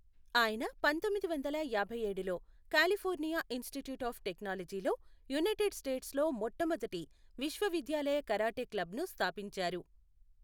ఆయన పంతొమ్మిది వందల యాభైఏడులో కాలిఫోర్నియా ఇన్స్టిట్యూట్ ఆఫ్ టెక్నాలజీలో యునైటెడ్ స్టేట్స్లో మొట్టమొదటి విశ్వవిద్యాలయ కరాటే క్లబ్ను స్థాపించారు.